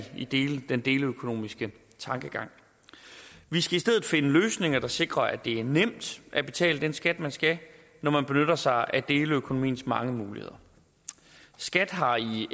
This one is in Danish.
den deleøkonomiske tankegang vi skal i stedet finde løsninger der sikrer at det er nemt at betale den skat man skal når man benytter sig af deleøkonomiens mange muligheder skat har i